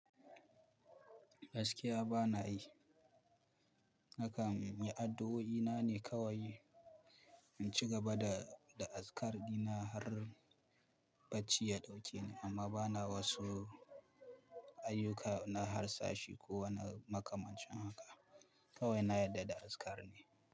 Gaskiya ba na yi, nakan yi addu'o'i na ne kawai in ci gaba da, da azkar dina har bacci ya ɗauke ni amma ba na wasu ayyuka na harsashi ko wani makamancin haka. Kawai na yadda da azkar ne.